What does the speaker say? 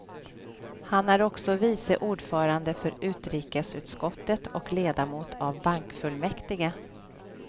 Han är också vice ordförande för utrikesutskottet och ledamot av bankfullmäktige.